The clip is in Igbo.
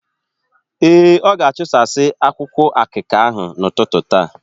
Ee, ọ ga-achụsasị akwụkwụ akịka ahụ n’ụtụtụ taa.